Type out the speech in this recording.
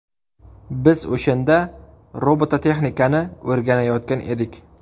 Biz o‘shanda robototexnikani o‘rganayotgan edik.